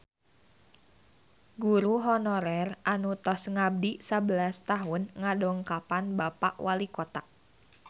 Guru honorer anu tos ngabdi sabelas tahun ngadongkapan Bapak Walikota